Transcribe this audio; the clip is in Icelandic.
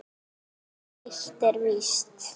En eitt er víst